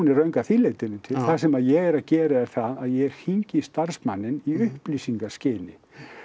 er röng að því leytinu til það sem að ég er að gera er það að ég hringi í starfsmanninn í upplýsingaskyni